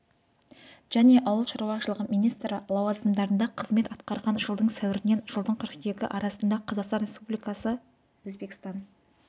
және ауыл шаруашылығы министрі лауазымдарында қызмет атқарған жылдың сәуірінен жылдың қыркүйегі арасында қазақстан республикасының өзбекстан